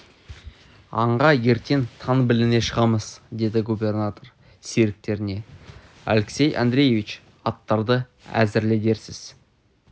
аңға ертең таң біліне шығамыз деді губернатор серіктеріне алексей андреевич аттарды әзірле дерсіз